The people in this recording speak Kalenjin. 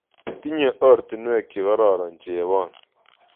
Tinye ortinwek chekororon chebon